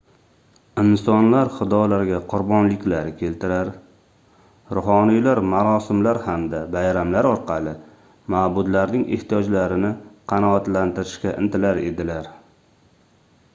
insonlar xudolarga qurbonliklar keltirar ruhoniylar marosimlar hamda bayramlar orqali mabudlarning ehtiyojlarini qanotlantirishga intilar edilar